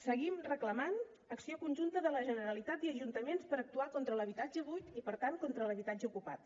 seguim reclamant acció conjunta de la generalitat i ajuntaments per actuar contra l’habitatge buit i per tant contra l’habitatge ocupat